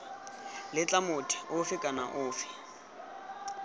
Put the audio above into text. letla motho ofe kana ofe